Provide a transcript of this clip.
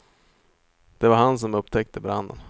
Det var han som upptäckte branden.